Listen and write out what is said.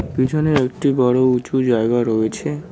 পিছনেও একটি বড়ো উঁচু জায়গা রয়েছে।